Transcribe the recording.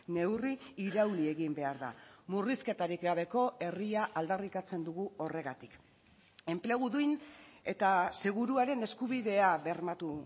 neurri irauli egin behar da murrizketarik gabeko herria aldarrikatzen dugu horregatik enplegu duin eta seguruaren eskubidea bermatu